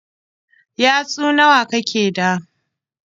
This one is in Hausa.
Yatsu nawa kake da?